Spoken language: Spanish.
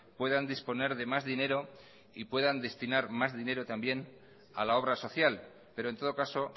puedan disponer de más dinero y puedan destinar más dinero también a la obra social pero en todo caso